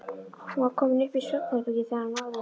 Hún var komin upp í svefnherbergi þegar hann náði henni.